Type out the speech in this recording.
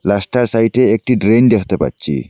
রাস্তার সাইটে একটি ড্রেন দেখতে পাচ্ছি।